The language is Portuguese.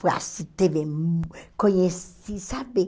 Foi assim, teve... Conheci, sabe?